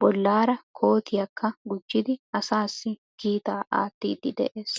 bollaara kootiyakka gujjidi asaassi kiitaa aattiiddi de'ees.